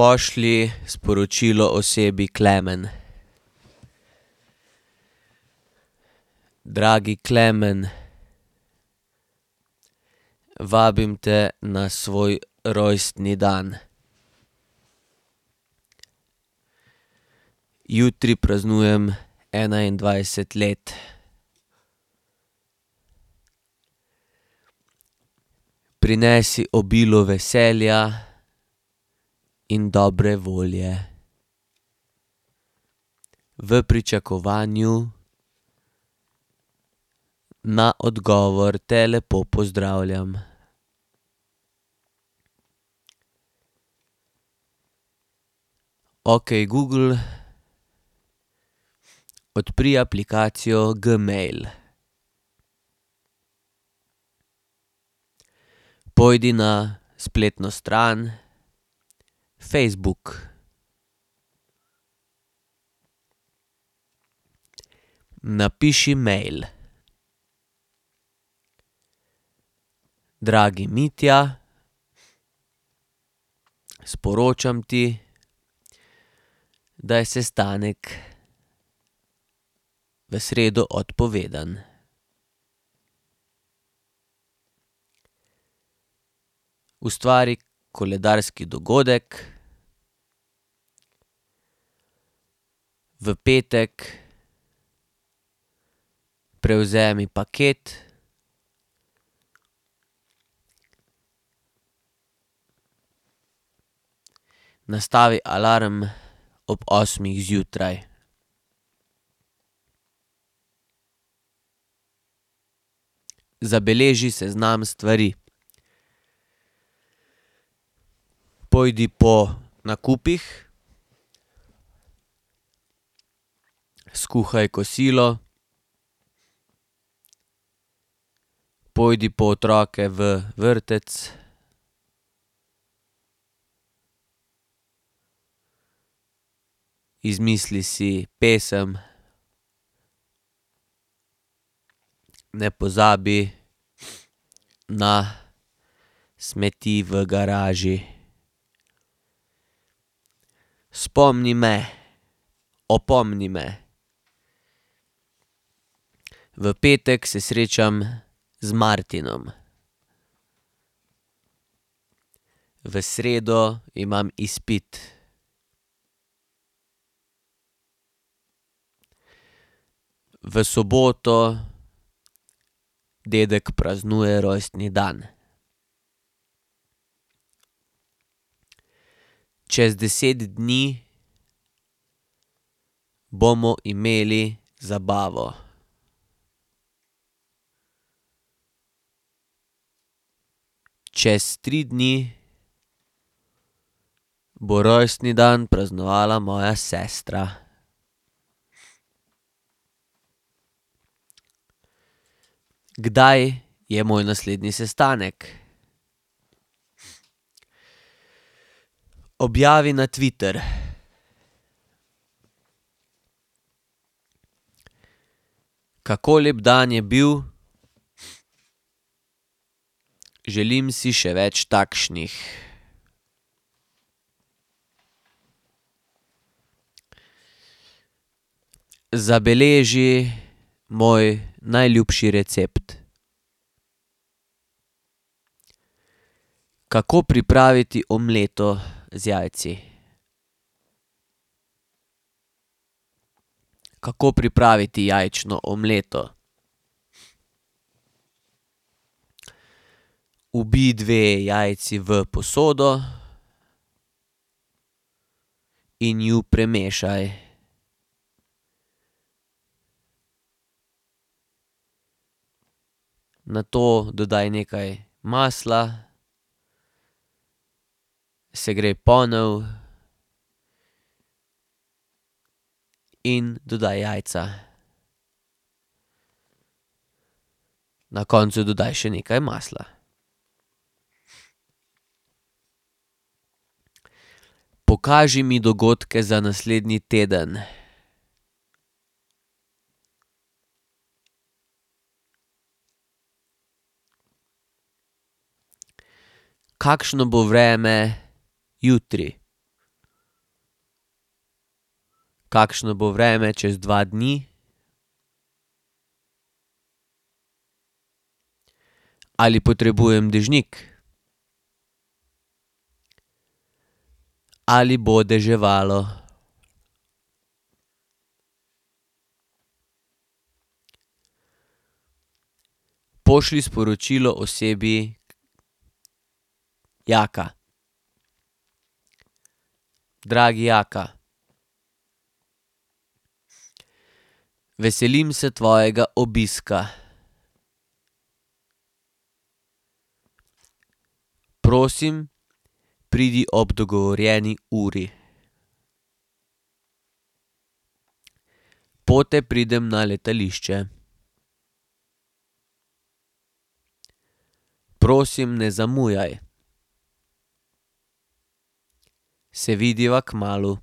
Pošlji sporočilo osebi Klemen: Dragi Klemen, vabim te na svoj rojstni dan. Jutri praznujem enaindvajset let. Prinesi obilo veselja in dobre volje. V pričakovanju na odgovor te lepo pozdravljam. Okej, Google, odpri aplikacijo Gmail. Pojdi na spletno stran Facebook. Napiši mail: Dragi Mitja, sporočam ti, da je sestanek v sredo odpovedan. Ustvari koledarski dogodek: v petek prevzemi paket, nastavi alarm ob osmih zjutraj. Zabeleži seznam stvari: pojdi po nakupih, skuhaj kosilo, pojdi po otroke v vrtec, izmisli si pesem, ne pozabi na smeti v garaži. Spomni me, opomni me: v petek se srečam z Martinom. V sredo imam izpit. V soboto dedek praznuje rojstni dan. Čez deset dni bomo imeli zabavo. Čez tri dni bo rojstni dan praznovala moja sestra. Kdaj je moj naslednji sestanek? Objavi na Twitter: Kako lep dan je bil, želim si še več takšnih. Zabeleži moj najljubši recept. Kako pripraviti omleto z jajci? Kako pripraviti jajčno omleto? Ubij dve jajci v posodo in ju premešaj. Nato dodaj nekaj masla, segrej ponev in dodaj jajca. Na koncu dodaj še nekaj masla. Pokaži mi dogodke za naslednji teden. Kakšno bo vreme jutri? Kakšno bo vreme čez dva dni? Ali potrebujem dežnik? Ali bo deževalo? Pošlji sporočilo osebi Jaka: Dragi Jaka, veselim se tvojega obiska. Prosim, pridi ob dogovorjeni uri. Pote pridem na letališče. Prosim, ne zamujaj. Se vidiva kmalu.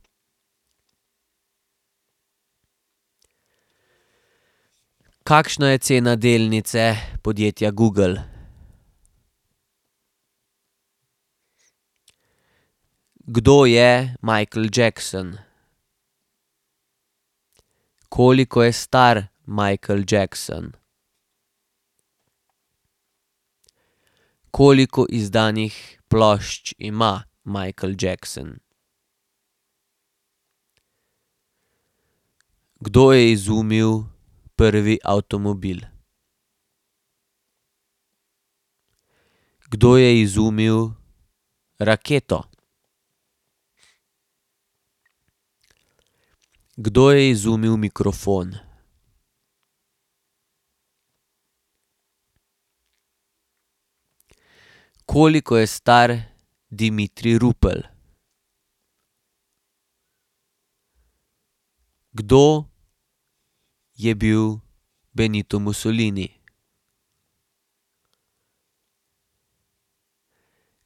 Kakšna je cena delnice podjetja Google? Kdo je Michael Jackson? Koliko je star Michael Jackson? Koliko izdanih plošč ima Michael Jackson? Kdo je izumil prvi avtomobil? Kdo je izumil raketo? Kdo je izumil mikrofon? Koliko je star Dimitrij Rupel? Kdo je bil Benito Mussolini?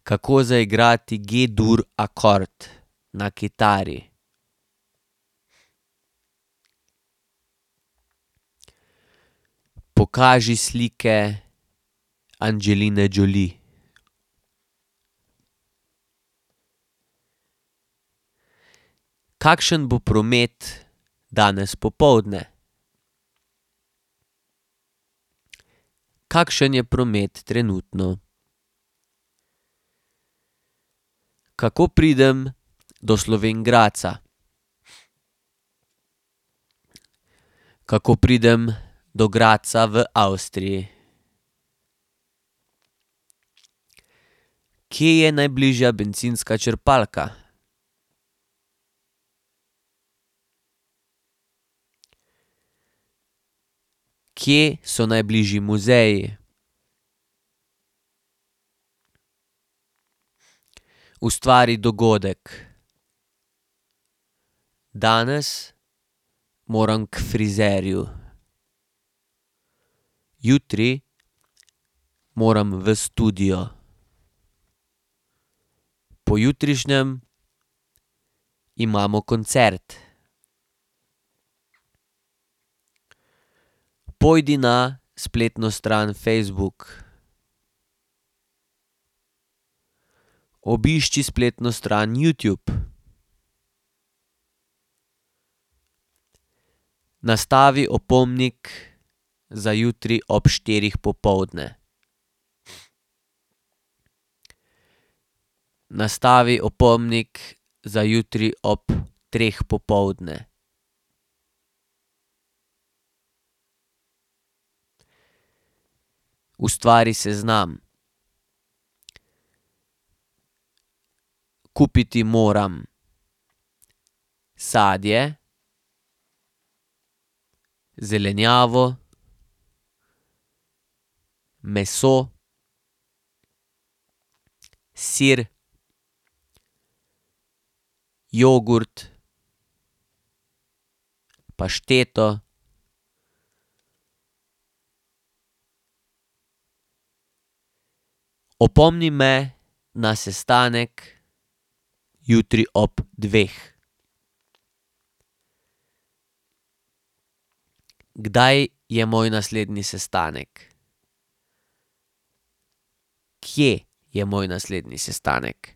Kako zaigrati G-dur akord na kitari? Pokaži slike Angeline Jolie. Kakšen bo promet danes popoldne? Kakšen je promet trenutno? Kako pridem do Slovenj Gradca? Kako pridem do Gradca v Avstriji? Kje je najbližja bencinska črpalka? Kje so najbližji muzeji? Ustvari dogodek. Danes moram k frizerju. Jutri moram v studio. Pojutrišnjem imamo koncert. Pojdi na spletno stran Facebook. Obišči spletno stran Youtube. Nastavi opomnik za jutri ob štirih popoldne. Nastavi opomnik za jutri ob treh popoldne. Ustvari seznam. Kupiti moram: sadje, zelenjavo, sir, jogurt, pašteto. Opomni me na sestanek jutri ob dveh. Kdaj je moj naslednji sestanek? Kje je moj naslednji sestanek?